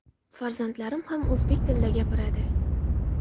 Farzandlarim ham o‘zbek tilida gapiradi.